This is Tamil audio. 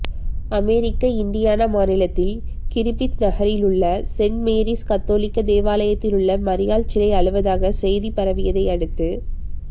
அமெரிக்க இன்டியானா மாநிலத்தில் கிறிப்பித் நகரிலுள்ள சென் மேரிஸ் கத்தோலிக்க தேவாலயத்திலுள்ள மரியாள் சிலை அழுவதாக செய்தி பரவியதையடுத்து